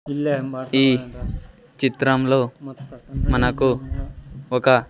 ఈ చిత్రంలో మనకు ఒక.